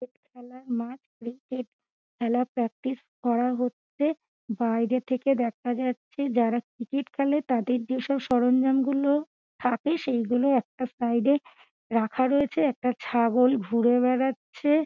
Cricket খেলার মাঠ cricket খেলা প্র্যাকটিস করা হচ্ছে বাইরে থেকে দেখা যাচ্ছে যারা ক্রিকেট খেলে তাদের যেসব সরঞ্জাম গুলো থাকে সেইগুলো একটা সাইড - এ রাখা রয়েছে একটা ছাগল ঘুরে বেড়াচ্ছে।